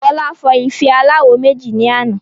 Fola fọ́ ife aláwo méjì ní àná